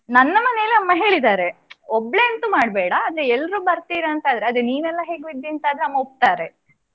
ನನ್ನ ಮನೆಯಲ್ಲಿ ಅಮ್ಮ ಹೇಳಿದಾರೆ ಒಬ್ಬಳೇ ಅಂತು ಮಾಡ್ಬೇಡ ಆದ್ರೆ ಎಲ್ರು ಬರ್ತೀರಿ ಅಂತ ಆದ್ರೆ ಅದೇ ನೀನಲ್ಲ ಹೇಗೂ ಇದ್ದೀಯ ಅಂತ ಆದ್ರೆ ಅಮ್ಮ ಒಪ್ತಾರೆ.